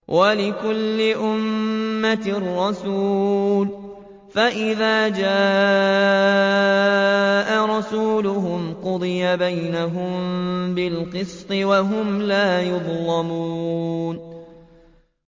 وَلِكُلِّ أُمَّةٍ رَّسُولٌ ۖ فَإِذَا جَاءَ رَسُولُهُمْ قُضِيَ بَيْنَهُم بِالْقِسْطِ وَهُمْ لَا يُظْلَمُونَ